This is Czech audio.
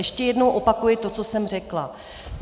Ještě jednou opakuji to, co jsem řekla.